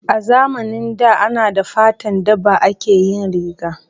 A zamanin da ana da fatan daba ake yin riga